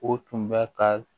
O tun bɛ ka